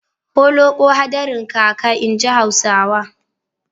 Holoƙo hadarin kaka, inji Hausawa.